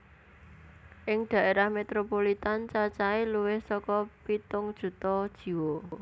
Ing daerah metropolitan cacahe luwih saka pitung juta jiwa